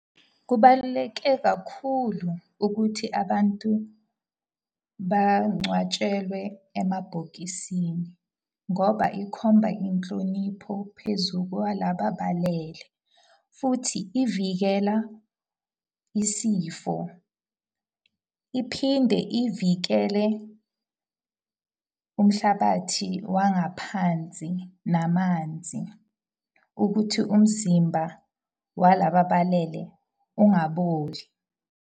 Kubaluleke kakhulu ukuthi abantu bangcwatshelwe emabhokisini. Ngoba ikhomba inhlonipho phezu kwalaba abalele. Futhi ivikela isifo. Iphinde ivikele umhlabathi wangaphansi namanzi ukuthi umzimba walaba abalele ungaboli.